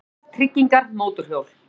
BÍLAR, TRYGGINGAR, MÓTORHJÓL